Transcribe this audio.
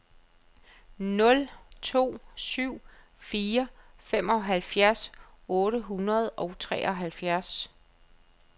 nul to syv fire femoghalvfjerds otte hundrede og treoghalvfjerds